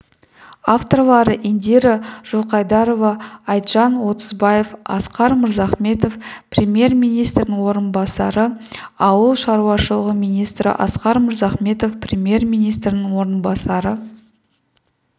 авторлары индира жылқайдарова айтжан отызбаев асқар мырзахметов премьер-министрінің орынбасары ауыл шаруашылығы министрі асқар мырзахметов премьер-министрінің орынбасары